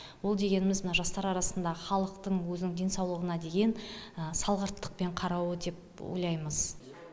ол дегеніміз мына жастар арасында халықтың өзінің денсаулығына деген салғырттықпен қарауы деп ойлаймыз